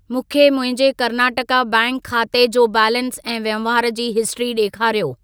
मूंखे मुंहिंजे कर्नाटका बैंक खाते जो बैलेंस ऐं वहिंवार जी हिस्ट्री ॾेखारियो।